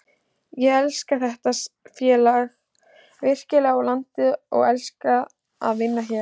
Ég elska þetta félag virkilega og landið og elska að vinna hérna.